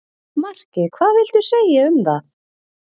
Markið hvað viltu segja um það?